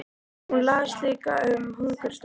Hún las líka um hungursneyðina í